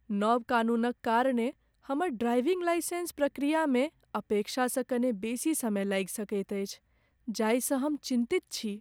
नव कानूनक कारणेँ हमर ड्राइविंग लाइसेंस प्रक्रियामे अपेक्षासँ कने बेसी समय लागि सकैत अछि जाहिसँ हम चिन्तित छी।